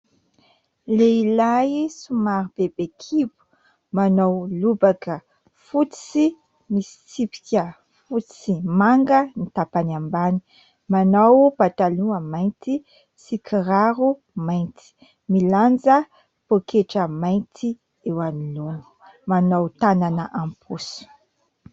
Lehilahy somary bebe kibo : manao lobaka fotsy misy tsipika fotsy sy manga ny tapany ambany, manao pataloha mainty sy kiraro mainty, milanja pôketra mainty eo anoloana, manao tanana am-paosy.